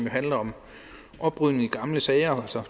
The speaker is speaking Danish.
handler om oprydning i gamle sager altså